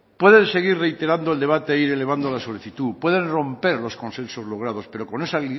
puede seguir reiterando el debate e ir elevando la solicitud pueden romper los consensos logrados pero con esa